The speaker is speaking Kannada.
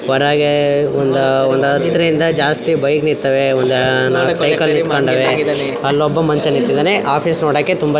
ಹೊರಗೆ ಒಂದ ಒಂದ ಹತ್ತರಿಂದ ಜಾಸ್ತಿ ಬೈಕ್ ನಿತ್ತವೆ ಒಂದ ನಾಲ್ಕ ಸೈಕಲ್ ನಿಂತಕೊಂಡವೆ ಅಲ್ಲೊಬ್ಬ ಮನುಷ ನಿತ್ತಇದ್ದಾನೆ ಆಫೀಸ್ ನೋಡಕೆ ತುಂಬಾ ----